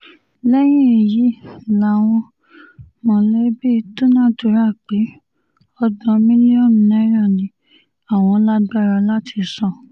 lẹ́yìn èyí làwọn mọ̀lẹ́bí dúnàádúrà pé ọgbọ̀n mílíọ̀nù náírà ni àwọn lágbára láti san